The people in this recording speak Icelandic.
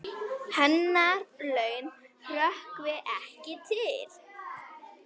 Hennar laun hrökkvi ekki til.